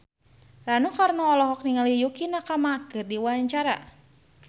Rano Karno olohok ningali Yukie Nakama keur diwawancara